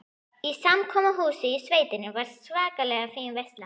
Í samkomuhúsinu í sveitinni var svakalega fín veisla.